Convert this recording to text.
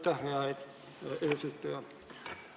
Aitäh, hea eesistuja!